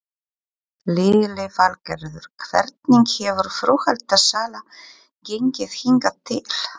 Lillý Valgerður: Hvernig hefur flugeldasala gengið hingað til?